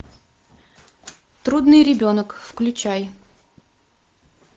трудный ребенок включай